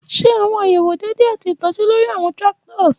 Ṣe awọn ayewo deede ati itọju lori awọn tractors.